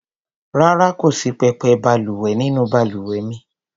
Rárá, kò sí pẹpẹ balùwẹ̀ nínú balùwẹ̀ mi.